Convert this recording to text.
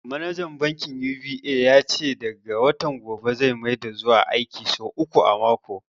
Manajan bankin UBA ya ce daga watan gobe zai maida zuwa aiki sau uku a mako.